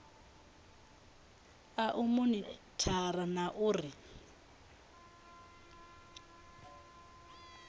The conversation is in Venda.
a u monithara na uri